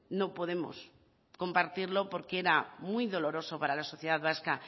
no podemos compartirlo porque era muy doloroso para la sociedad vasca